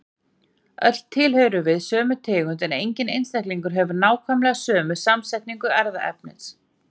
Öll tilheyrum við sömu tegund en enginn einstaklingar hefur nákvæmlega sömu samsetningu erfðaefnis.